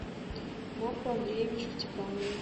марку андреевичу степанову